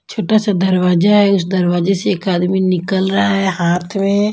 छोटा सा दरवाजा है उस दरवाजे से एक आदमी निकल रहा है हाथ में --